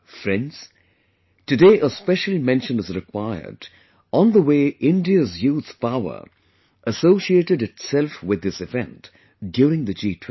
Friends, today a special mention is required on the way India's youth power associated itself with this event during the G20